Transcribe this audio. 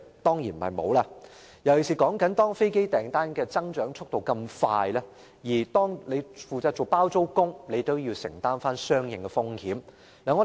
當然不是。尤其當飛機訂單數量快速增長，"包租公"也要承擔相應風險。